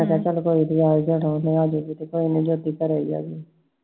ਤੇ ਮੈਂ ਕਿਹਾ ਕੋਈ ਨੀ ਆ ਈ ਜਾਣਾ ਜਯੋਤੀ ਘਰੇ ਈ ਆl